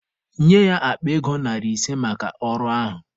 Nye ya akpa ego narị ise maka ọrụ ahụ.